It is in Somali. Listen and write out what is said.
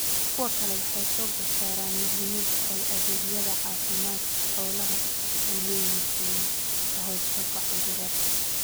Kuwo kale waxay xoogga saaraan muhiimadda ay adeegyada caafimaadka xoolaha u leeyihiin ka hortagga cudurrada.